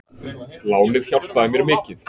Lánið hjálpaði mér mikið.